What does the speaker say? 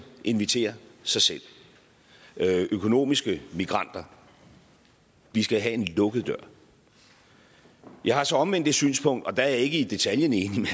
inviterer sig selv økonomiske migranter vi skal have en lukket dør jeg har så omvendt det synspunkt og der er jeg ikke i detaljen enig